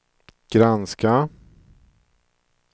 granska